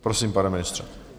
Prosím, pane ministře.